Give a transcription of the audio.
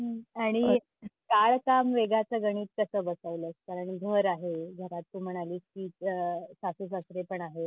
हम्म आणि काळ काम वेगाचं गणित कसं बसवलंस? कारण घर आहे घरात तू म्हणालीस की आह सासूसासरे पण आहेत.